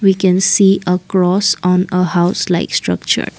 we can see across on a house like structure.